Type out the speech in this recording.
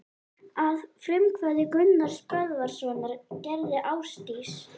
Að frumkvæði Gunnars Böðvarssonar gerði Ásdís